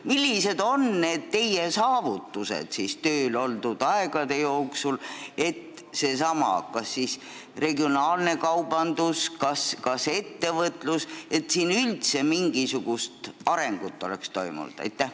Millised on need teie saavutused tööl oldud aja jooksul, et sellessamas regionaalses kaubanduses, ettevõtluses üldse mingisugune areng toimuks?